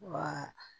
Wa